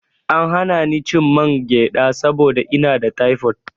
An hana ni cin mangyaɗa saboda ina da taifot.